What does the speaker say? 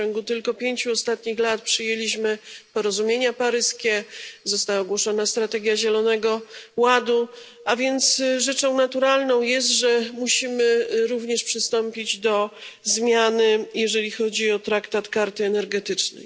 W ciągu tylko pięciu ostatnich lat przyjęliśmy porozumienie paryskie i została ogłoszona strategia Zielonego Ładu, a więc rzeczą naturalną jest, że musimy również przystąpić do zmiany Traktatu karty energetycznej.